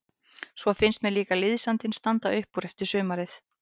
Svo finnst mér líka liðsandinn standa upp úr eftir sumarið.